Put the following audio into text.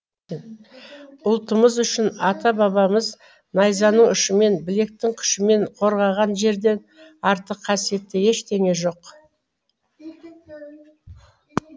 ұлтымыз үшін ата бабамыз найзаның ұшымен білектің күшімен қорғаған жерден артық қасиетті ештеңе жоқ